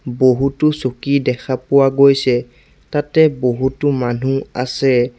বহুতো চকী দেখা পোৱা গৈছে তাতে বহুতো মানু্হ আছে।